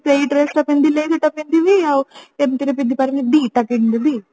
ହଁ ସେଇ ସେଇ dress ତ ପିନ୍ଧିଲେ ସେଟା ପିନ୍ଧିବି ଆଉ ଏମିତିରେ ପିନ୍ଧି ପାରିବି ଦିଟା କିଣିଦେବି